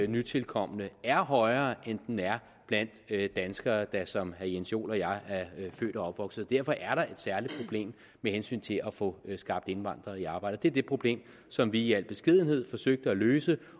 nytilkomne er højere end den er blandt danskere der som herre jens joel og jeg er født og opvokset her derfor er der et særligt problem med hensyn til at få skaffet indvandrere i arbejde det er det problem som vi i al beskedenhed forsøgte at løse